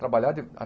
Trabalhava de à